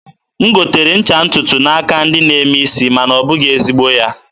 m gotere ncha ntụtụ n'aka ndị na-eme isi, ma na ọ bụghị ezigbo ya.